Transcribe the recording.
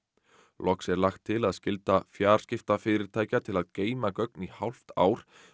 loks er lagt til að skylda fjarskiptafyrirtækja til að geyma gögn í hálft ár